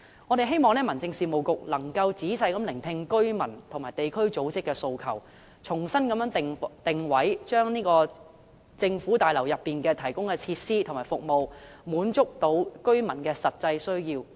我們希望民政事務局能夠仔細聆聽居民和地區組織的訴求，重新定位，令市政大樓內提供的設施和服務能夠滿足居民的實際需要。